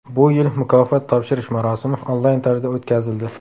Bu yil mukofot topshirish marosimi onlayn tarzda o‘tkazildi.